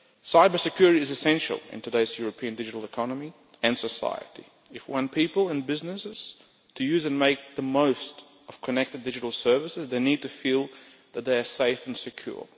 Cyber security is essential in today's European digital economy and society. When people and businesses use and make the most of connected digital services they need to feel that they are safe and secure.